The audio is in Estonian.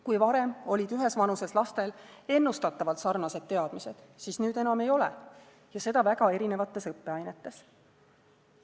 Kui varem olid ühes vanuses lastel ennustatavalt sarnased teadmised, siis nüüd enam ei ole, ja seda väga erinevates õppeainetes.